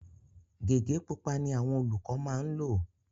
Gẹ̀gẹ́ pupa ni àwọn olùkọ maá ńlò